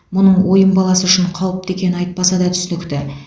мұның ойын баласы үшін қауіпті екені айтпаса да түсінікті